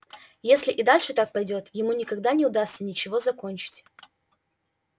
если и дальше так пойдёт ему никогда не удастся ничего закончить